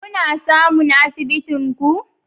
Kuna samun asibitin ku